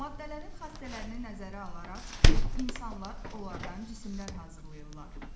Maddələrin xassələrini nəzərə alaraq insanlar onlardan cisimlər hazırlayırlar.